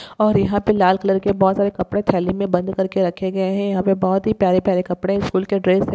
और यहाँ पे लाल कलर के बहुत सारे कपड़े थैली मे बंद कर के रखे गए है यहाँ पे बहुत ही प्यारे-प्यारे कपड़े स्कूल के ड्रेस है।